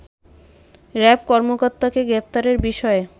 RAB কর্মকর্তাকে গ্রেপ্তারের বিষয়ে